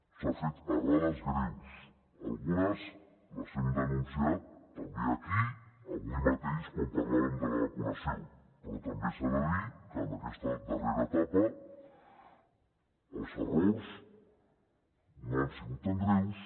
s’han fet errades greus algunes les hem denunciat també aquí avui mateix quan parlàvem de la vacunació però també s’ha de dir que en aquesta darrera etapa els errors no han sigut tan greus